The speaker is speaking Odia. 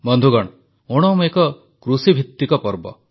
ବନ୍ଧୁଗଣ ଓଣମ୍ ଏକ କୃଷିଭିତ୍ତିକ ପର୍ବ